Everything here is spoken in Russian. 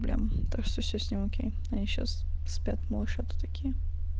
плеба так что все с ним окей они сейчас спят малышата такие